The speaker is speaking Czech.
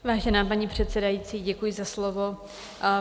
Vážená paní předsedající, děkuji za slovo.